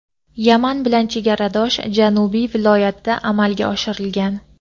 Yaman bilan chegaradosh janubiy viloyatda amalga oshirilgan.